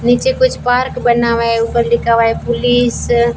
नीचे कुछ पार्क बना हुआ है ऊपर लिखा हुआ है पुलीस --